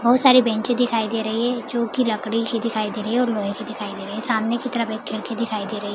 बहुत सारी बेंचे दिखाई दे रही है जो कि लकड़ी की दिखाई दे रही है और लोहे की दिखाई दे रही है सामने की तरफ एक खिड़की दिखाई दे रही--